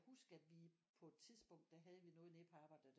Huske at vi på et tidspunkt der havde vi noget nede på arbejdet der